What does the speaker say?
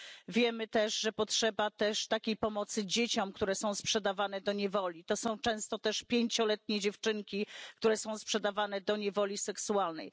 Wiemy, że potrzeba też takiej pomocy dzieciom, które są sprzedawane do niewoli. To są często też pięcioletnie dziewczynki, które są sprzedawane do niewoli seksualnej.